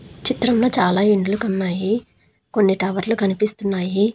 చిత్రంలో చాలా ఇండ్లు ఉన్నాయి కొన్ని టవర్లు కనిపిస్తున్నాయి.